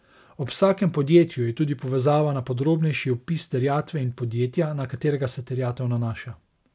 Ob vsakem podjetju je tudi povezava na podrobnejši opis terjatve in podjetja, na katerega se terjatev nanaša.